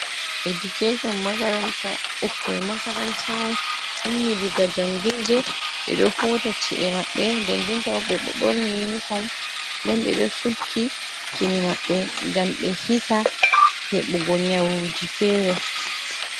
Education makaranta ɓukkoik makaranta on ummi diga jangirde ɓeɗo hota ci’e maɓɓe nde nden tabo ɓe ɓorni uniform nden ɓeɗo sukki kine mabɓe gam ɓe hisa heɓugo nyawuji fere.